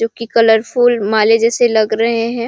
जो की कलरफुल माले जैसे लग रहे हैं।